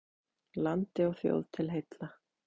Landi og þjóð til heilla!